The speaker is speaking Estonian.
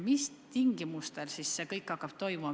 Mis tingimustel see kõik toimuma hakkab?